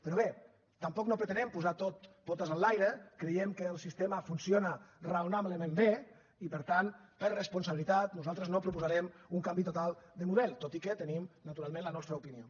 però bé tampoc no pretenem posar ho tot potes enlaire creiem que el sistema funciona raonablement bé i per tant per responsabilitat nosaltres no proposarem un canvi total de model tot i que tenim naturalment la nostra opinió